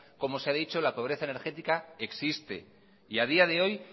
como se ha dicho la pobreza energética existe y a día de hoy